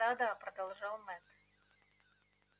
да да продолжал мэтт